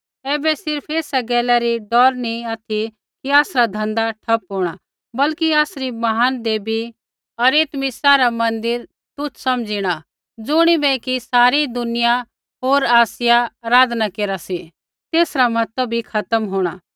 ऐबै सिर्फ़ एसा गैलै री डौर नी ऑथि कि आसरा धँधा ठप्प होंणा बल्कि आसरी महान देवी अरितमिसा रा मन्दिर तुच्छ समझ़िणा ज़ुणिबै कि सारी दुनिया होर आसिया आराधना केरा सी तेसरा महत्व बी खत्म होंणा